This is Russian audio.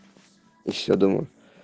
ещё думаю